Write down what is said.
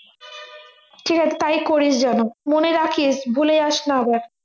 ঠিক আছে তাই করিস যেন মনে রাখিস ভুলে যাসনা আবার